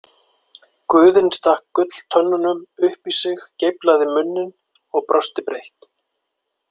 Guðinn stakk gulltönnunum upp í sig, geiflaði munninn og brosti breitt.